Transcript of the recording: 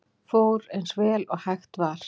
Fór eins vel og hægt var